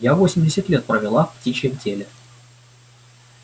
я восемьдесят лет провела в птичьем теле